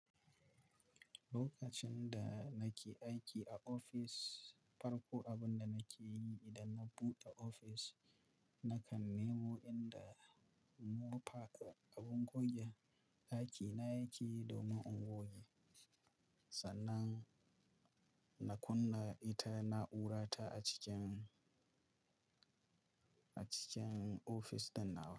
Lokacin da nake aiki a ofis, farko abin da nake yi idan na buɗe ofis, nakan nemo inda mofa, abin goge ɗakina yake domin in goge. Sannan, na kunna ita na'urarta a cikin, a cikin ofis ɗin na awo.